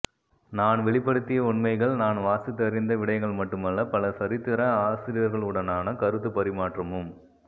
நான் வெளிப்படுத்திய உண்மைகள் நான் வாசித்தறிந்த விடயங்கள் மட்டுமல்ல பல சரித்திர ஆசிரியர்களுடனான கருத்துப் பரிமாற்றமும்